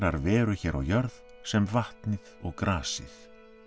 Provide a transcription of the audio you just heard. veru hér á jörð sem vatnið og grasið